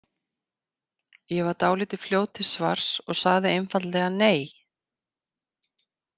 Ég var dálítið fljót til svars og sagði einfaldlega nei.